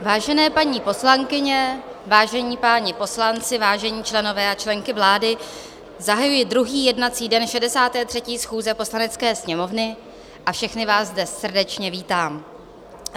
Vážené paní poslankyně, vážení páni poslanci, vážení členové a členky vlády, zahajuji druhý jednací den 63. schůze Poslanecké sněmovny a všechny vás zde srdečně vítám.